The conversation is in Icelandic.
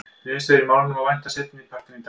Niðurstöðu í málinu má vænta seinni partinn í dag.